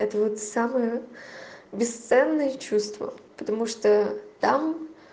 это вот самое бесценное чувство потому что там